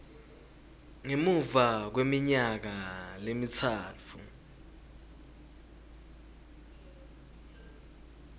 ngemuva kweminyaka lemitsatfu